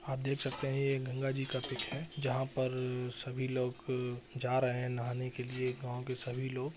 आप देख सकते है ये एक गंगा जी का पिक है जहां पर सभी लोग जा रहे है नहाने के लिए गाँव के सभी लोग।